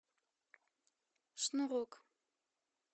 шнурок